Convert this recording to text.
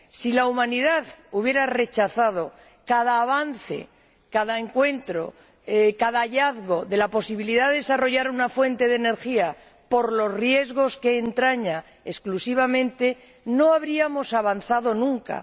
Si la Humanidad hubiera rechazado cada avance, cada encuentro, cada hallazgo de la posibilidad de desarrollar una fuente de energía por los riesgos que entraña exclusivamente, no habríamos avanzado nunca.